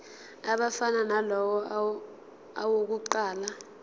afana nalawo awokuqala